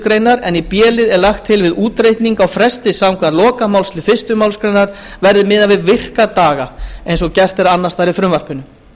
grein en í b lið er lagt til að við útreikning á fresti samkvæmt lokamálslið fyrstu málsgrein verði miðað við virka daga eins og gert er annars staðar í frumvarpinu